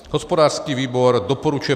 Hospodářský výbor doporučuje